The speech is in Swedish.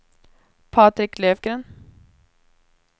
Patrik Löfgren